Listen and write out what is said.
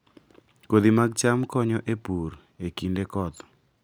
Kodhi mag cham konyo e pur e kinde koth